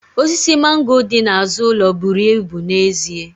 Osisi mango dị n'azụ ụlọ buru ibu n'ezie